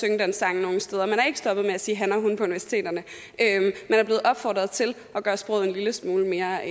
synge den sang nogen steder man er ikke stoppet med at sige han og hun på universiteterne man er blevet opfordret til at gøre sproget en lille smule mere